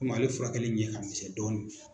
Komi ale furakɛli ɲɛ ka misɛn dɔɔnin